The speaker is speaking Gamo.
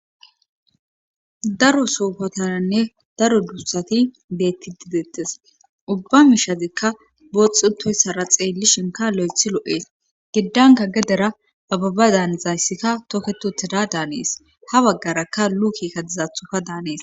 Daro soofatananne daro duussati beetti didetes ubba mishazekka booxutoyssara xeelli shinka lo7ethi lo7ees gidanka gedera ababa daanizayssikka toketu teda daanees ha baggarakka luukika dizathufa daanees.